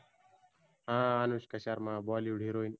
हं Anushka Sharma bollywood heroin